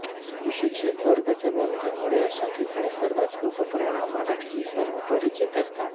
सुशिक्षित वर्गाच्या घनतेमुळे अशा ठिकाणी सर्वच लोक प्रमाण मराठीशी सर्वपरिचित असतात